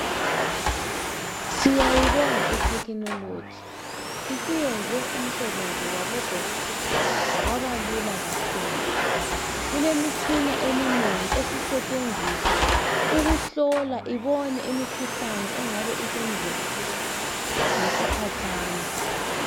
Siyayobonga ithekhinoloji, iseyenze umisebenzi wabodokotela waba lula kakhulu. Isikhona imitshina eminengi isisethenziswa ukuhlola ibone imikhuhlane engabe isemzimbeni womuntu ngesikhatshana.